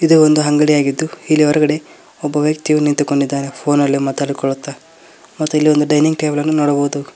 ಇದು ಒಂದು ಅಂಗಡಿಯಾಗಿದ್ದು ಇಲ್ಲಿ ಹೊರಗಡೆ ಒಬ್ಬ ವ್ಯಕ್ತಿಯು ನಿಂತುಕೊಂಡಿದ್ದಾನೆ ಫೋನಲ್ಲಿ ಮಾತನಾಡಿಕೊಳ್ಳುತ್ತಾ ಮತ್ತು ಇಲ್ಲಿ ಒಂದು ಡೈನಿಂಗ್ ಟೇಬಲ್ ಅನ್ನು ನೋಡಬಹುದು.